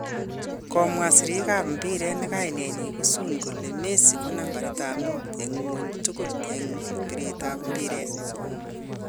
Komwa sirrik ab mpiret ne kainet ko Sun kole Messi ko nambait mut en ngwony tugul en biret ab mpiret